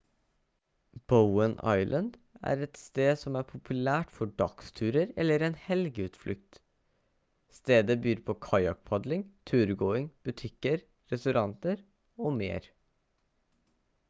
bowen island er et sted som er populært for dagsturer eller en helgeutflukt stedet byr på kajakkpadling turgåing butikker restauranter og mer